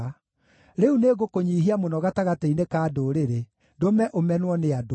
“Rĩu nĩngũkũnyiihia mũno gatagatĩ-inĩ ka ndũrĩrĩ, ndũme ũmenwo nĩ andũ.